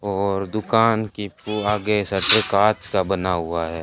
और दुकान की फू आगे शटर कांच का बना हुआ है।